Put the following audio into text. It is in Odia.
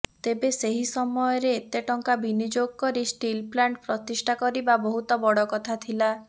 ତେବେ ସେହି ସମୟରେ ଏତେ ଟଙ୍କା ବିନିଯୋଗ କରି ଷ୍ଟିଲପ୍ଲାଣ୍ଟ ପ୍ରତିଷ୍ଠା କରିବା ବହୁତ ବଡ଼ କଥା ଥିଲା